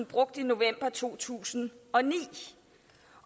brugte i november to tusind og ni